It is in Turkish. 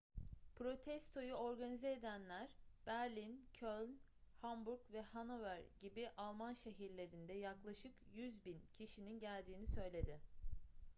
protestoyu organize edenler berlin köln hamburg ve hannover gibi alman şehirlerinde yaklaşık 100.000 kişinin geldiğini söyledi